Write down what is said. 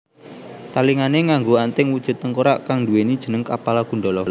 Talingané nganggo anting wujud tengkorak kang nduwèni jeneng Kapala Kundala